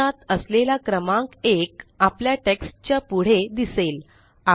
कंसात असलेला क्रमांक 1आपल्या टेक्स्ट च्या पुढे दिसेल